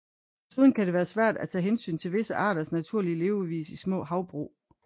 Desuden kan det være svært at tage hensyn til visse arters naturlige levevis i små havbrug